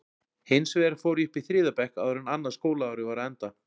Hins vegar fór ég upp í þriðja bekk áður en annað skólaárið var á enda.